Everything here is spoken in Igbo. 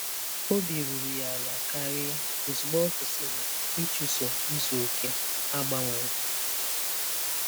Obi ruru ya ala karị ozugbo ọ kwụsịrị ịchụso izu oke a gbanwere.